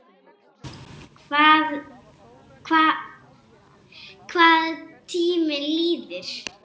Hvað tíminn líður!